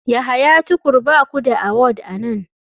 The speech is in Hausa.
Yahya tukur ba ku da award a nan.